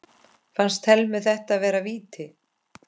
Fannst Thelmu þetta vera víti?